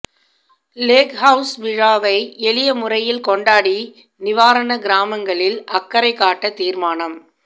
Lake House விழாவை எளியமுறையில் கொண்டாடி நிவாரணக் கிராமங்களில் அக்கறை காட்ட தீர்மானம்